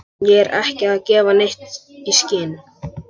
Ég er ekki að gefa neitt í skyn.